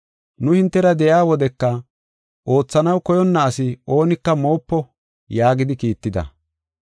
Nu hintera de7iya wodeka, “Oothanaw koyonna asi oonika moopo” yaagidi kiitida.